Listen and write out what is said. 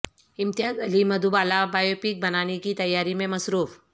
امتیاز Ali Madhubala biopic بنانے کی تیاری میں مصروف